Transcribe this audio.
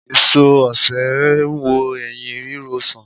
Èso osè n wo ẹyín ríro sàn